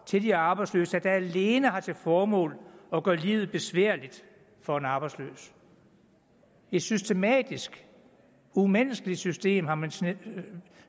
til de arbejdsløse har krav der alene har til formål at gøre livet besværligt for en arbejdsløs et systematisk umenneskeligt system har man